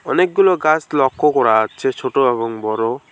অনেকগুলো গাছ লক্ষ্য করা যাচ্ছে ছোট এবং বড়।